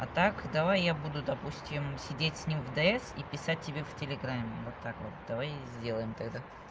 а так давай я буду допустим сидеть с ним в д с и писать тебе в телеграмме вот так вот давай сделаем тогда